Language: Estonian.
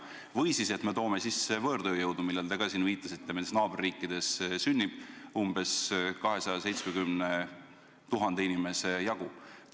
Või siis me toome sisse võõrtööjõudu, millele te ka viitasite?